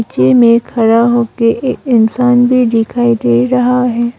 पीछे में खड़ा हो के एक इंसान भी दिखाई दे रहा है।